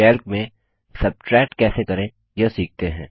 Calc में subtract कैसे करें यह सीखते हैं